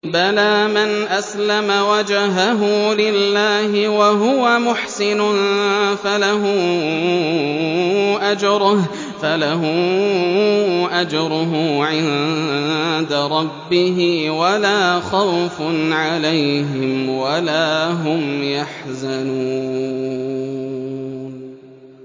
بَلَىٰ مَنْ أَسْلَمَ وَجْهَهُ لِلَّهِ وَهُوَ مُحْسِنٌ فَلَهُ أَجْرُهُ عِندَ رَبِّهِ وَلَا خَوْفٌ عَلَيْهِمْ وَلَا هُمْ يَحْزَنُونَ